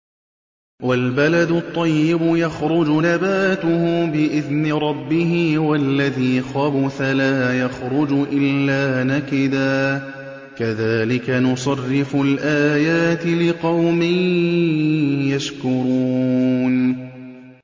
وَالْبَلَدُ الطَّيِّبُ يَخْرُجُ نَبَاتُهُ بِإِذْنِ رَبِّهِ ۖ وَالَّذِي خَبُثَ لَا يَخْرُجُ إِلَّا نَكِدًا ۚ كَذَٰلِكَ نُصَرِّفُ الْآيَاتِ لِقَوْمٍ يَشْكُرُونَ